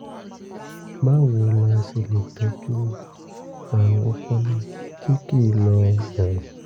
báwo la ṣe lè tọ́jú àrùn ọpọlọ tí kì í lọ bọ̀rọ̀?